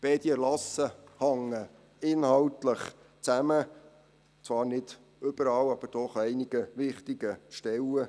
Beide Erlasse hängen inhaltlich zusammen, zwar nicht überall, aber doch an einigen wichtigen Stellen.